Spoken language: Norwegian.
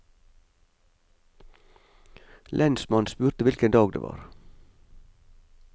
Lensmannen spurte hvilken dag det var.